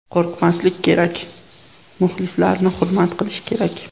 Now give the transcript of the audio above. Qo‘rqmaslik kerak, muxlislarni hurmat qilish kerak.